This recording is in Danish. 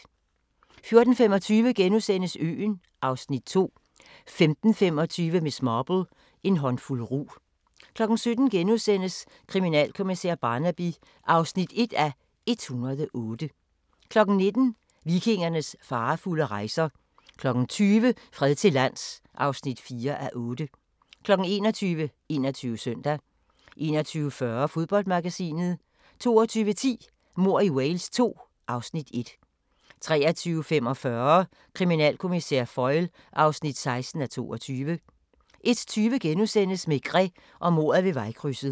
14:25: Øen (Afs. 2)* 15:25: Miss Marple: En håndfuld rug 17:00: Kriminalkommissær Barnaby (1:108)* 19:00: Vikingernes farefulde rejser 20:00: Fred til lands (4:8) 21:00: 21 Søndag 21:40: Fodboldmagasinet 22:10: Mord i Wales II (Afs. 1) 23:45: Kriminalkommissær Foyle (16:22) 01:20: Maigret og mordet ved vejkrydset *